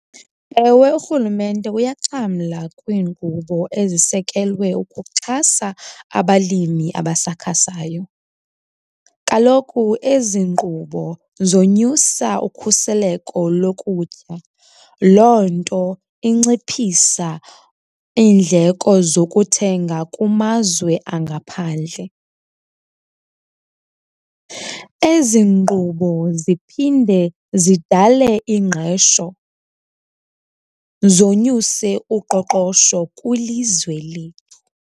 Ewe urhulumente uyaxhamla kwiinkqubo ezisekelwe ukuxhasa abalimi abasakhasayo. Kaloku ezi nkqubo zonyusa ukhuseleko lokutya, loo nto inciphisa iindleko zokuthenga kumazwe angaphandle. Ezi nkqubo ziphinde zidale ingqesho, zonyuse uqoqosho kwilizwe lethu.